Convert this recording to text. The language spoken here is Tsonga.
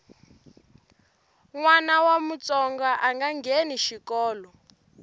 nwana wa mutsonga anga ngheni xikolo